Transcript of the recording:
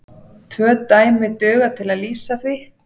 Tvö dæmi duga til að lýsa því.